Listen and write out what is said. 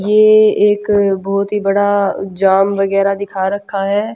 ये एक बहोत ही बड़ा जाम वगैराह दिखा रखा है।